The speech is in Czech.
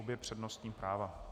Obě přednostní práva.